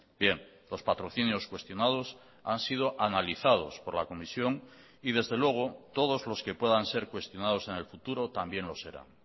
bien los patrocinios cuestionados han sido analizados por la comisión y desde luego todos los que puedan ser cuestionados en el futuro también lo serán